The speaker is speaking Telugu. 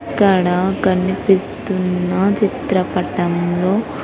ఇక్కడ కనిపిస్తున్న చిత్రపటంలో.